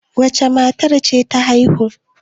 wacece matar ce ta haihu?